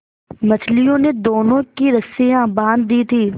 मछलियों ने दोनों की रस्सियाँ बाँध दी थीं